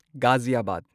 ꯒꯥꯓꯤꯌꯥꯕꯥꯗ